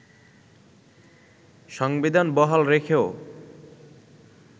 সংবিধান বহাল রেখেও